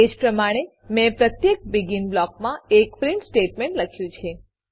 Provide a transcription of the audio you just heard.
એજ પ્રમાણે મેં પ્રત્યેક બેગિન બ્લોકમાં એક પ્રીંટ સ્ટેટમેંટ લખ્યું છે